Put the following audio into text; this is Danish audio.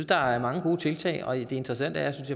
der er mange gode tiltag og det interessante er synes